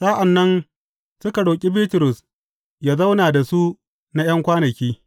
Sa’an nan suka roƙi Bitrus yă zauna da su na ’yan kwanaki.